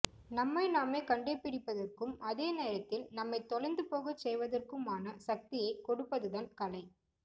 நம்மை நாமே கண்டுபிடிப்பதற்கும் அதே நேரத்தில் நம்மைத் தொலைந்துபோகச் செய்வதற்குமான சக்தியைக் கொடுப்பதுதான் கலை